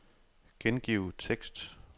Gengiv tekst.